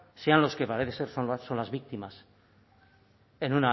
sean los que parece ser sean las víctimas en